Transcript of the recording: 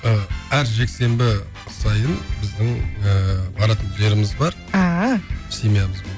ы әр жексенбі сайын біздің ыыы баратын жеріміз бар ааа семьямызбен